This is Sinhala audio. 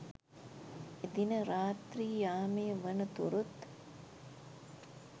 එදින රාත්‍රී යාමය වන තුරුත්